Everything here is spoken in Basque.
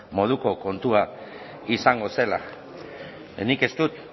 moduko kontua izango zela nik ez dut